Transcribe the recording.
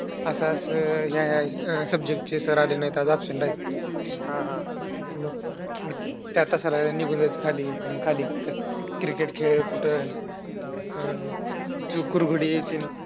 असं असं ह्या ह्या subject चे sir आले नाहीत आज absent आहेत. हा हा त्या तासाला निघून जायचो खाली मग खाली cricket खेळ कुठं अं कुरघोडी